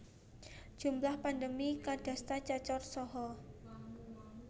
Jumlah pandemi kadasta cacar saha